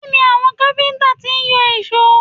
Kí ni àwọn káfíńtà ti ń yọ èṣó?